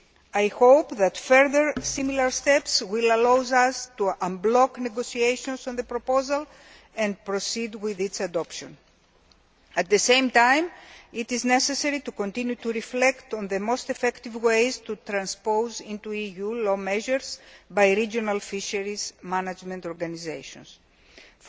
I hope that further, similar steps will allow us to unblock negotiations on the proposal and proceed with its adoption. At the same time, it is necessary to continue to reflect on the most effective ways to transpose measures introduced by regional fisheries management organisations into EU law.